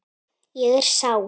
Ég er sár.